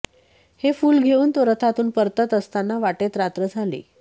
हे फूल घेऊन तो रथातून परतत असताना वाटेत रात्र झाली